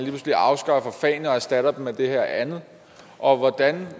pludselig afskaffer fagene og erstatter dem med det her andet og hvordan